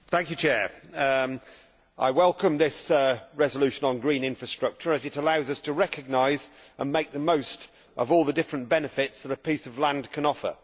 Mr President, I welcome this resolution on green infrastructure as it allows us to recognise and make the most of all the different benefits that a piece of land can offer.